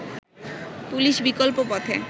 police বিকল্প পথে